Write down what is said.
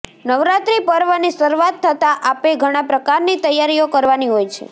નવરાત્રિ પર્વની શરુઆત થતા આપે ઘણા પ્રકારની તૈયારીઓ કરવાની હોય છો